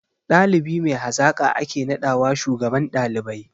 Ɗalibi mai hazaƙa ake naɗawa shugaban ɗalibai